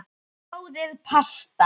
Sjóðið pasta.